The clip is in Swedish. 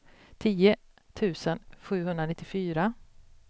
tio tusen sjuhundranittiofyra